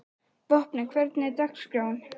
Vopni, hvernig er dagskráin?